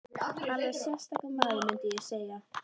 Alveg sérstakur maður, mundi ég segja.